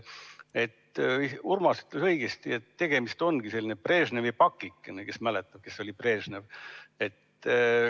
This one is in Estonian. Urmas ütles õigesti, et tegemist on sellise Brežnevi pakikesega – kes veel mäletab, kes oli Brežnev.